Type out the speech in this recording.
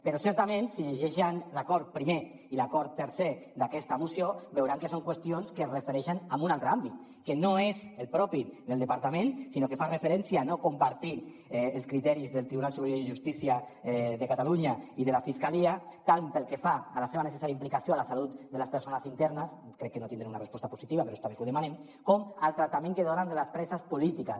però certament si llegeixen l’acord primer i l’acord tercer d’aquesta moció veuran que són qüestions que es refereixen a un altre àmbit que no és el propi del departament sinó que fa referència a no compartir els criteris del tribunal superior de justícia de catalunya i de la fiscalia tant pel que fa a la seva necessària implicació a la salut de les persones internes crec que no tindré una resposta positiva però està bé que ho demanem com al tractament que donen a les preses polítiques